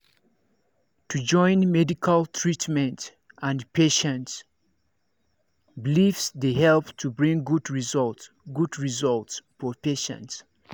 to join medical treatment and patient beliefse dey help to bring good result good result for patient